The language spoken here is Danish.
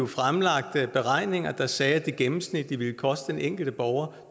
fremlagt beregninger der sagde at det gennemsnitligt ville koste den enkelte borger